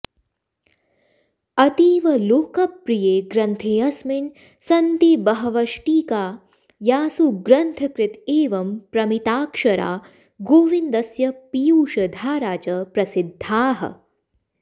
अतीवलोकप्रिये ग्रन्थेऽस्मिन् सन्ति बहवष्टीका यासु ग्रन्थकृत एवं प्रमिताक्षरा गोविन्दस्य पीयूषधारा च प्रसिद्धाः